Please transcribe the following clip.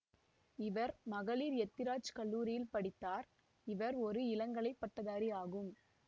இவர் மகளிர் எத்திராஜ் கல்லூரியில் படித்தார் இவர் ஒரு இளங்கலை பட்டதாரி ஆகும்